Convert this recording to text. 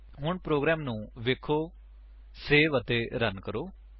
ਹੁਣ ਪ੍ਰੋਗਰਾਮ ਨੂੰ ਵੇਖੋ ਸੇਵ ਅਤੇ ਰਨ ਕਰੋ